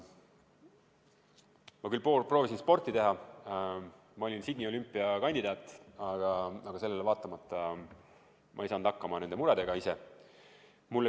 Ma küll proovisin sporti teha, ma olin Sydney olümpia kandidaat, aga sellele vaatamata ma ei saanud nende muredega ise hakkama.